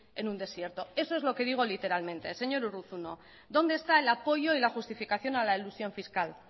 en un desierto eso es lo que digo literalmente señor urruzuno dónde está el apoyo y la justificación a la elusión fiscal